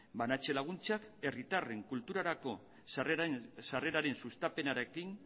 banatze laguntzak herritarren kulturarako sarreraren sustapenarekin